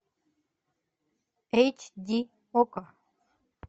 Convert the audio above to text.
эйч ди окко